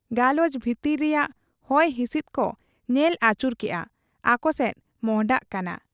ᱜᱟᱞᱚᱪ ᱵᱷᱤᱛᱤᱨ ᱨᱮᱭᱟᱝ ᱦᱚᱭ ᱦᱤᱥᱤᱫ ᱠᱚ ᱧᱮᱞ ᱟᱹᱪᱩᱨ ᱠᱮᱜ ᱟ, ᱟᱠᱚᱥᱮᱫ ᱢᱚᱸᱦᱰᱟᱜ ᱠᱟᱱᱟ ᱾